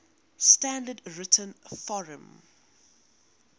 standard written form